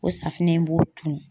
O safunɛ in b'o tunun.